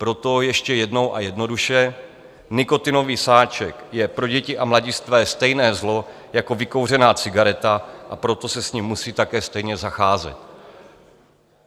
Proto ještě jednou a jednoduše - nikotinový sáček je pro děti a mladistvé stejné zlo jako vykouřená cigareta, a proto se s ním musí také stejně zacházet.